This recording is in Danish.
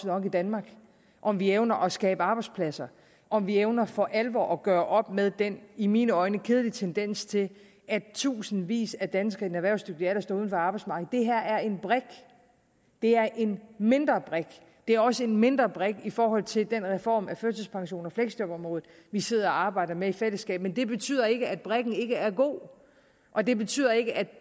job i danmark om vi evner at skabe arbejdspladser om vi evner for alvor at gøre op med den i mine øjne kedelige tendens til at tusindvis af danskere i den erhvervsdygtige alder står uden for arbejdsmarkedet det her er en brik det er en mindre brik det er også en mindre brik i forhold til den reform af førtidspensions og fleksjobområdet vi sidder og arbejder med i fællesskab men det betyder ikke at brikken ikke er god og det betyder ikke at